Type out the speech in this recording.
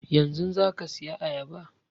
Yanzun za ka saya ayaba?